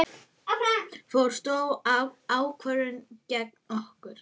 Fór stór ákvörðun gegn okkur?